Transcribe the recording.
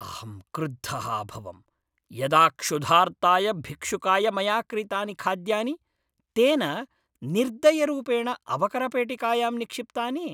अहं क्रुद्धः अभवं यदा क्षुधार्ताय भिक्षुकाय मया क्रीतानि खाद्यानि तेन निर्दयरूपेण अवकरपेटिकायां निक्षिप्तानि।